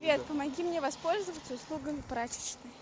помоги мне воспользоваться услугами прачечной